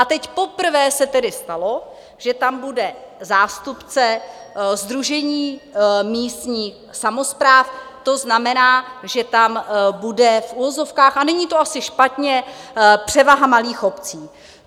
A teď poprvé se tedy stalo, že tam bude zástupce Sdružení místních samospráv, to znamená, že tam bude v uvozovkách, a není to asi špatně, převaha malých obcí.